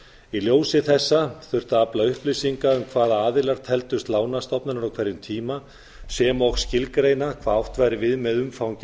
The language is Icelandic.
í ljósi þessa þurfti að afla upplýsinga um hvaða aðilar teldust lánastofnanir á hverjum tíma sem og skilgreina hvað átt væri við með umfangi